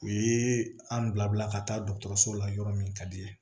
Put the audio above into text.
U ye an bila ka taa dɔgɔtɔrɔso la yɔrɔ min ka di i ye